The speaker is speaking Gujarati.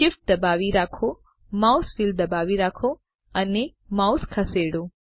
Shift દબાવી રાખો માઉસ વ્હીલ દબાવી રાખો અને માઉસ ખસેડો